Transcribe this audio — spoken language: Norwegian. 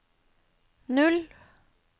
null